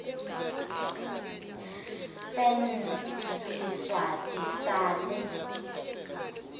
fn siswati sal